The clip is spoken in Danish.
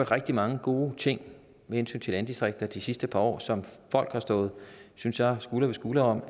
rigtig mange gode ting med hensyn til landdistrikter de sidste par år som folk har stået synes jeg skulder ved skulder om